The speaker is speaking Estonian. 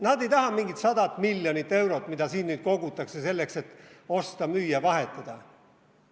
Nad ei taha mingit 100 miljonit eurot, mida siin nüüd kogutakse selleks, et osta, müüa, vahetada.